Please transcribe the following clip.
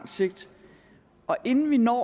sigt og inden vi når